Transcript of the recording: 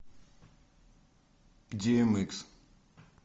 ди эм икс